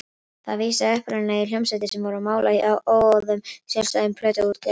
Það vísaði upprunalega í hljómsveitir sem voru á mála hjá óháðum eða sjálfstæðum plötuútgáfum.